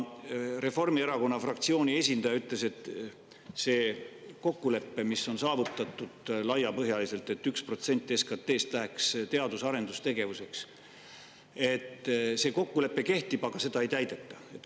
Reformierakonna fraktsiooni esindaja ütles, et see kokkulepe, mis on saavutatud laiapõhjaliselt, et 1% SKT‑st läheks teadus‑ ja arendustegevuseks, kehtib, aga seda ei täideta.